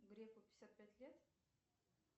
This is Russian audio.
греку пятьдесят пять лет